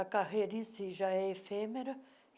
A carreira em si já é efêmera.